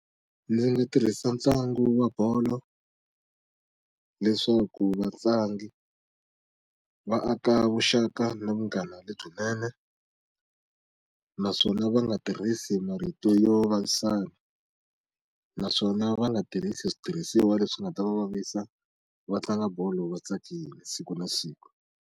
Ndzi nga tirhisa ntlangu wa bolo leswaku vatlangi va aka vuxaka na vanghana lebyinene naswona va nga tirhisi marito yo vavisana naswona va nga tirhisi switirhisiwa leswi nga ta va vavisa va tlanga bolo va tsakile siku na siku.